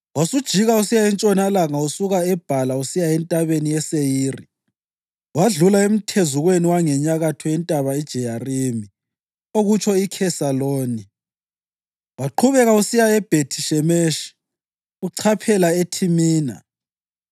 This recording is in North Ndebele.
Wasujika usiya entshonalanga usuka eBhala usiya entabeni yeSeyiri, wedlula emthezukweni wangenyakatho yentaba iJeyarimi (okutsho iKhesaloni) waqhubeka usiya eBhethi-Shemeshi uchaphela eThimina.